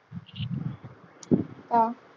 का?